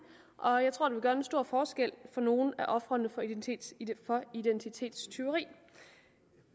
og jeg tror det vil gøre en stor forskel for nogle af ofrene for identitetstyveri